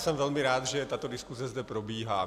Jsem velmi rád, že tato diskuze zde probíhá.